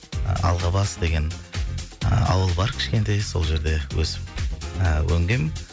алғабас деген ы ауыл бар кішкентай сол жерде өсіп ыыы өнгем